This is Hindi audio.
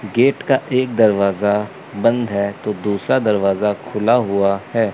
गेट का एक दरवाजा बंद है तो दूसरा दरवाजा खुला हुआ है।